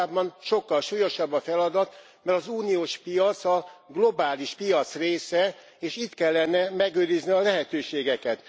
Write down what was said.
Valójában sokkal súlyosabb a feladat, mert az uniós piac a globális piac része, és itt kellene megőrizni a lehetőségeket.